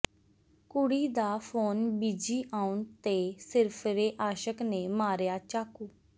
ਕੁੜੀ ਦਾ phone busy ਆਉਣ ਤੇ ਸਿਰਫਿਰੇ ਆਸ਼ਕ ਨੇ ਮਾਰਿਆ ਚਾਕੂ